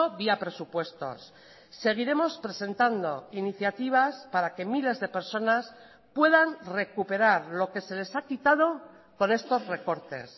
vía presupuestos seguiremos presentando iniciativas para que miles de personas puedan recuperar lo que se les ha quitado con estos recortes